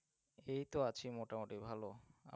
এই তো আছি মোটামুটি ভালো অপনার